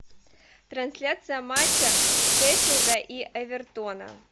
трансляция матча шеффилда и эвертона